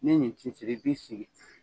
Nin ye nin cetikɛ , i bɛ siri tigɛ.